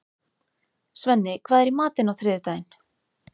Svenni, hvað er í matinn á þriðjudaginn?